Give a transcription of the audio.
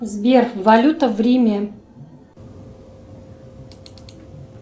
сбер валюта в риме